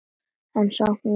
En samt með svona.